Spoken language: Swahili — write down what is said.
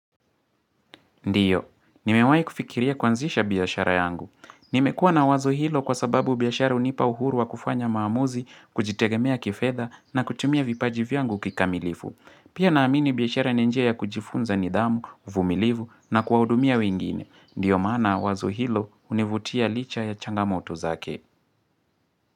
Ndiyo, nimewai kufikiria kwanzisha biashara yangu. Nimekua na wazo hilo kwa sababu biashara unipa uhuru wa kufanya maamuzi, kujitegemea kifedha na kutumia vipaji vyangu kikamilifu. Pia naamini biashara ni njia ya kujifunza nidhamu, uvumilivu na kuwaudumia wingine. Ndiyo manaa wazo hilo univutia licha ya changamoto zake.